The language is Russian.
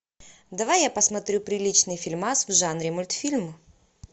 давай я посмотрю приличный фильмас в жанре мультфильм